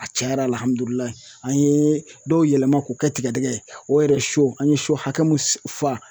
A cɛn yɛrɛ la an yee dɔw yɛlɛma k'o kɛ tigɛdɛgɛ ye o yɛrɛ an ye hakɛ mun fa.